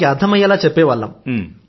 అర్థమయ్యేలా చెప్పేవాళ్లం